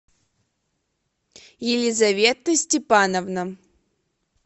елизавета степановна